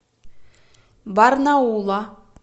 барнаула